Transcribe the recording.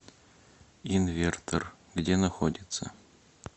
инвертор где находится